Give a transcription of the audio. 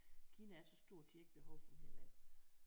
Kina er så stort de har ikke behov for mere land